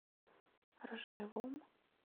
ржевом